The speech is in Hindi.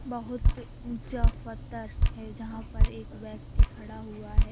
बहोत ऊंचा वत्थर है जहाँ पर एक व्यक्ति खड़ा हुआ है।